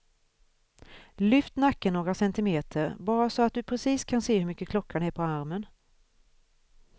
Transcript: Lyft nacken några centimeter, bara så att du precis kan se hur mycket klockan är på armen.